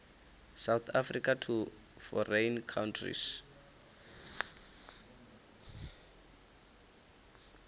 south africa to foreign countries